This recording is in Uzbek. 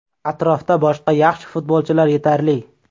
Atrofda boshqa yaxshi futbolchilar yetarli.